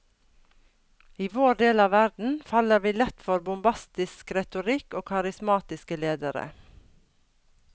I vår del av verden faller vi lett for bombastisk retorikk og karismatiske ledere.